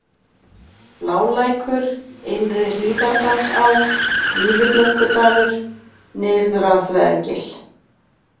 Blálækur, Innri-Hlíðardalsá, Víðiblöðkudalur, Nyrðraþvergil